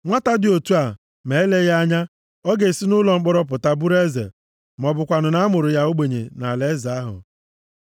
Nwata dị otu a, ma eleghị anya, ọ ga-esi nʼụlọ mkpọrọ pụta bụrụ eze, ma ọ bụkwanụ na a mụrụ ya ogbenye nʼalaeze ahụ.